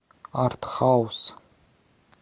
артхаус